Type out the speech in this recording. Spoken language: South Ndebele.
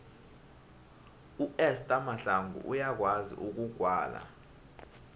uester mahlangu uyakwazi ukugwala